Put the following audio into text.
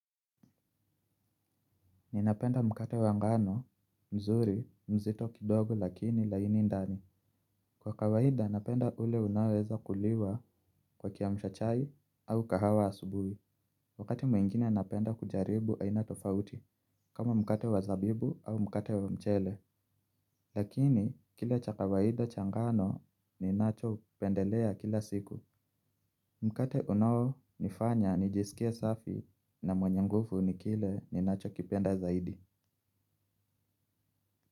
Ninapenda mkate wa ngano, mzuri, mzito kidogo lakini laini ndani. Kwa kawaida napenda ule unaoweza kuliwa kwa kiamsha chai au kahawa asubuhi. Wakati mwingine napenda kujaribu aina tofauti kama mkate wa zabibu au mkate wa mchele. Lakini, kile cha kawaida cha ngano ninachopendelea kila siku mkate unaonifanya nijisikie safi na mwenye nguvu ni kile ninachokipenda zaidi.